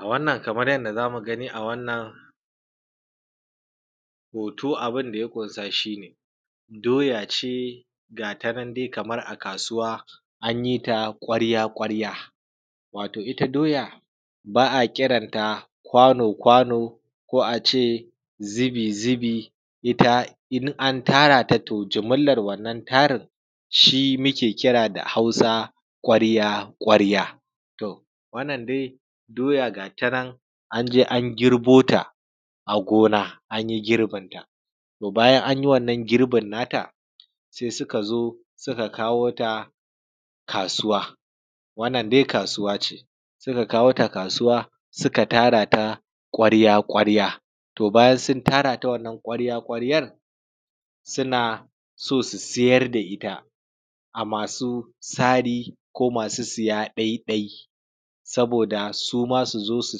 A Wannan kamar yanda zamu gani a wannan abunda ya kunsa shine doyace gatanan dai kamar a kasuwa an yita kwarya kwarya. Wato doya ba’a kiran kwano kwano ko a ce zubi zubi itta in an tara to jimillan wannan tarin shi muke kira da hausa kwarya kwarya. Wannan dai doya gatanan anje an girbota a gona anyi girbin ta, to bayan anyi wannan girbin nata sai sukazo suka kawota kasuwa wannan dai kasuwace suka kawota kasuwa suka tara ta kwarya kwarya. To bayan sun tara ta wannan kwarya kwaryan suna so su sayar da itta ga masu sari ko masu siya ɗai ɗai saboda suma suzo su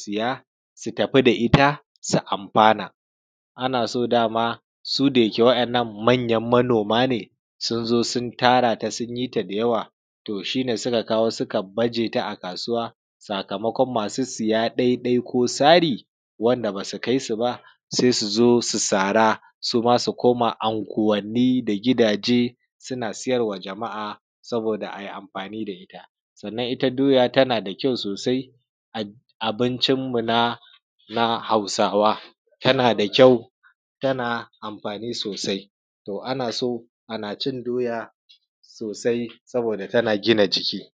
siya su tafi da itta su amfana, a naso dama su dayake wadannan manyan manoma ne sunzo sun tarata sunyi ta da yawa to shine suka kawo suka bajeta a kasuwa sakamakon masu siya ko sari wanda basu kaisu ba suzo su sara suma su koma anguwanni da gidaje suna siyarma jama’a saboda ayi amfani da itta. itta doya tanada kyau sosai a abinmu na hausawa tana da kyau tana amfani sosai to a naso a nacin doya sosai saboda tana gina jiki.